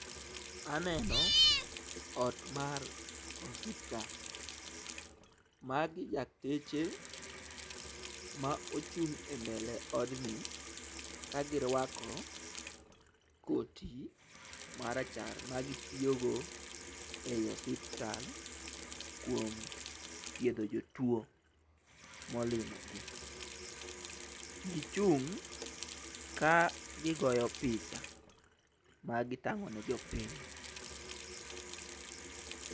Aneno ot mar osiptal. Magi dakteche ma ochung' e mbele odni kagiruako koti marachar magitiyogo e yi osiptal kuom thiedho jo tuo molimo gi. Gichung' ka gigoyo picha magitang'o ne jopiny.